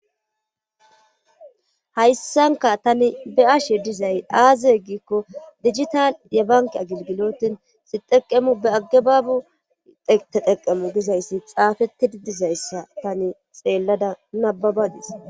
hayssanka tani be7ashe dizay aaziye giikko digital ye banki a gilgilotin sixeqemu be aggebaabu teteqemu dizayssi xaafettidi dizayssa tani xeellada nababadis